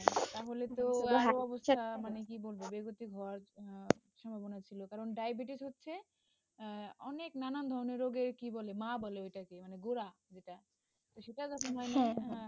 তাহলে তো মানে কি বলব বেগতিক, word শোনাচ্ছিল, কারণ diabetes হচ্ছে, অনেক নানান ধরণের রোগের কি বলে মা বলে ওটাকে, মানে গোঁড়া, সেটা তো তোমার,